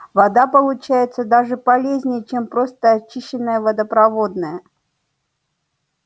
вода получается даже полезнее чем просто очищенная водопроводная